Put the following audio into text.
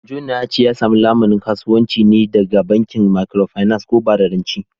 Jona ya ce ya samu lamunin kasuwanci ne daga bankin Microfinance ko bada rance